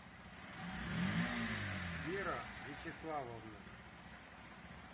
вера вячеславовна